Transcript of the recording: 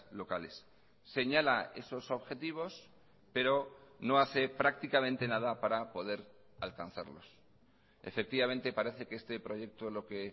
locales señala esos objetivos pero no hace prácticamente nada para poder alcanzarlos efectivamente parece que este proyecto lo que